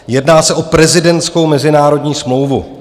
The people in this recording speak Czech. Jedná se o prezidentskou mezinárodní smlouvu.